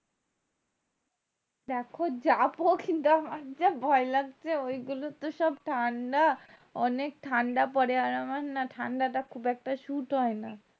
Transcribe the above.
দেখো যাবো কিন্তু আমার যা ভয় লাগছে ওই গুলো তো সব ঠান্ডা অনেক ঠান্ডা পরে আর আমার না ঠান্ডাটা খুব একটা suit হয় না